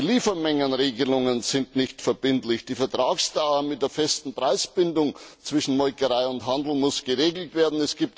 Die Liefermengenregelungen sind nicht verbindlich, die Vertragsdauer mit der festen Preisbindung zwischen Molkerei und Handel muss geregelt werden.